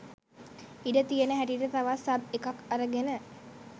ඉඩ තියෙන හැටියට තවත් සබ් එකක් අරගෙන